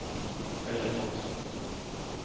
Hällefors